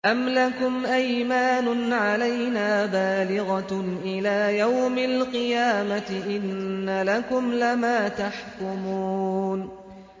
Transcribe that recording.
أَمْ لَكُمْ أَيْمَانٌ عَلَيْنَا بَالِغَةٌ إِلَىٰ يَوْمِ الْقِيَامَةِ ۙ إِنَّ لَكُمْ لَمَا تَحْكُمُونَ